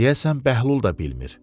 Deyəsən Bəhlul da bilmir.